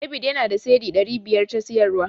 David yana da Cedi ɗari biyar ta siyarwa.